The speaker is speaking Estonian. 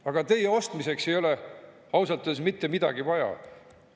Aga teie ostmiseks ei ole ausalt öeldes mitte midagi vaja.